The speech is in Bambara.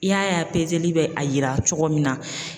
I y'a ye a pezeli bɛ a yira cogo min na